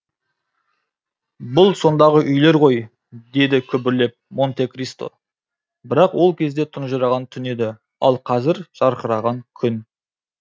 бұл сондағы үйлер ғой деді күбірлеп монте кристо бірақ ол кезде тұнжыраған түн еді ал қазір жарқыраған күн